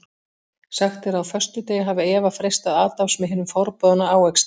Sagt er að á föstudegi hafi Eva freistað Adams með hinum forboðna ávexti.